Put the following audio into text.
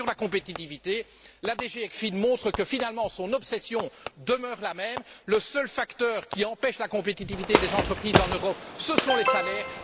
Enfin, sur la compétitivité, la DG ECFIN montre que, finalement, son obsession demeure la même le seul facteur qui empêche la compétitivité des entreprises en Europe, ce sont les salaires.